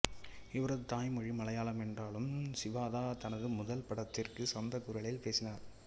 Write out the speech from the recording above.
இவரது தாய்மொழி மலையாளம் என்றாலும் சிவாதா தனது முதல் படத்திற்கு சொந்தக் குரலில் பேசினார்